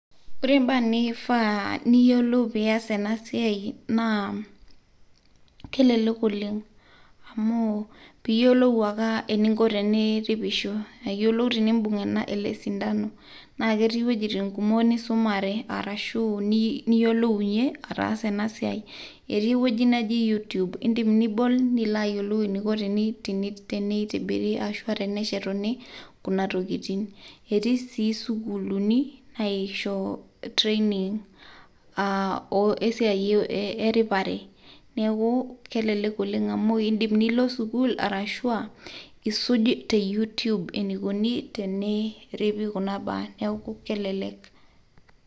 Wore mbaa nifaa niyiolou pias ena naa kelelek oleng' amu piyiolou ake eninko eniripisho eninko enimbung' ele sindano naketii wuejiting' kumok nisumare arashu niyiolounyie ataasa enasiai etii ewueji naji you tube indim nibol nilo ayiolou eniko eneitibiri neshetuni kuna tokiting' etii sii sukuluni naishoyo training esiai eripare neaku kelelek oleng amu indim nilo sukul arashu aa isuuj te youtube enikuni teneripi kuna baa neku kelelek